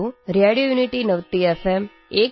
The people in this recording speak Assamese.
radio unity ninety F এম২